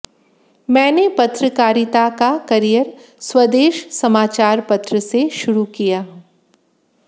मैंने पत्रकारिता का करियर स्वदेश समाचार पत्र से शुरू किया